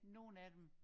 Nogen af dem